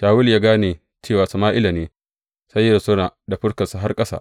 Shawulu ya gane cewa Sama’ila ne, sai ya rusuna da fuskarsa har ƙasa.